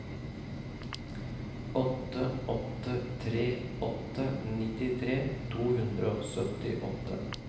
åtte åtte tre åtte nittitre to hundre og syttiåtte